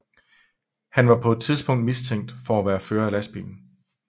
Han var på det tidspunkt mistænkt for at være fører af lastbilen